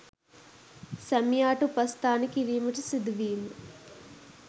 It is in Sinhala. සැමියාට උපස්ථාන කිරීමට සිදුවීම